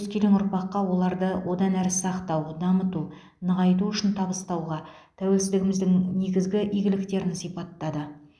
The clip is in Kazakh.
өскелең ұрпаққа оларды одан әрі сақтау дамыту нығайту үшін табыстауға тәуелсіздігіміздің негізгі игіліктерін сипаттады